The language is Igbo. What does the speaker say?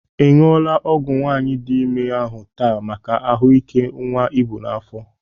Ị ṅụla ọgwụ nwaanyị dị ime ahụ taa maka ahụ ike nwa i bụ n'afọ.?